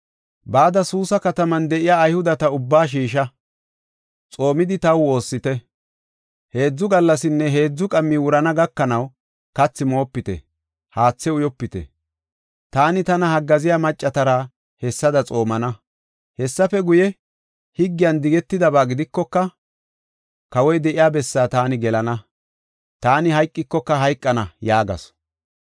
“Bada Suusa kataman de7iya Ayhudeta ubbaa shiisha; xoomidi taw woossite. Heedzu gallasinne heedzu qammi wurana gakanaw, kathi moopite; haathe uyopite. Taani tana haggaaziya maccatara hessada xoomana. Hessafe guye, higgiyan digetidaba gidikoka, kawoy de7iya bessaa taani gelana. Taani hayqikoka hayqana” yaagasu.